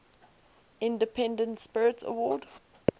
independent spirit award